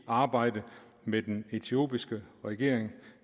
arbejde med den etiopiske regering